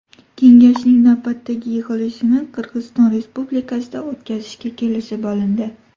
Kengashning navbatdagi yig‘ilishini Qirg‘iziston Respublikasida o‘tkazishga kelishib olindi.